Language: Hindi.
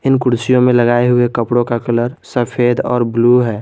इन कुर्सियों में लगाए हुए कपड़ों का कलर सफेद और ब्लू है।